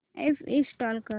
app install कर